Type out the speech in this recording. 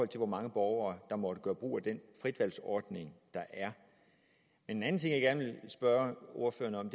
til hvor mange borgere der måtte gøre brug af den frit valg ordning der er en anden ting jeg gerne spørge ordføreren